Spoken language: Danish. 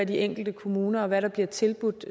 de enkelte kommuner og i hvad der bliver tilbudt